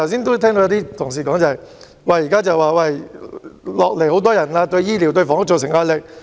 剛才有些同事說，現在新移民人數增加，對醫療和房屋造成壓力。